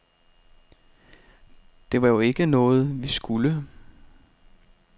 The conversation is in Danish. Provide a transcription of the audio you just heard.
Det var jo ikke noget, vi skulle.